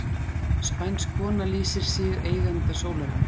Spænsk kona lýsir sig eiganda sólarinnar